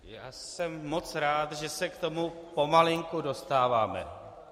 Já jsem moc rád, že se k tomu pomalinku dostáváme.